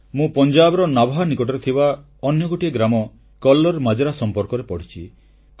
ମୁଁ ପଞ୍ଜାବର ନାଭା ନିକଟରେ ଥିବା ଅନ୍ୟ ଗୋଟିଏ ଗ୍ରାମ କଲ୍ଲର ମାଜରା ସମ୍ପର୍କରେ ପଢ଼ିଛି